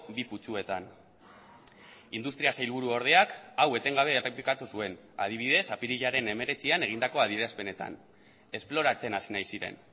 bi putzuetan industria sailburuordeak hau etengabe errepikatu zuen adibidez apirilaren hemeretzian egindako adierazpenetan esploratzen hasi nahi ziren